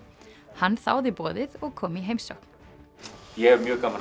hann þáði boðið og kom í heimsókn ég hef mjög gaman